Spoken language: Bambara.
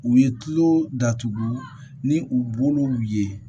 U ye tulo datugu ni u bolow ye